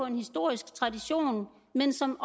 en historisk tradition men som